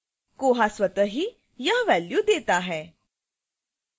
koha स्वत: ही value 180821b xxu 00 0 eng d देता है